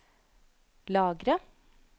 lagre